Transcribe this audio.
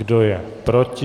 Kdo je proti?